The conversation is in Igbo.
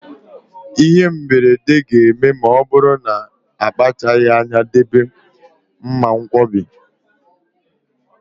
Ịhe mberede ga-eme ma ọ bụrụ na akpachaghị anya debe mmankwọbi.